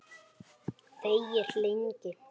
Þegir lengi.